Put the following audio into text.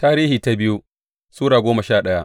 biyu Tarihi Sura goma sha daya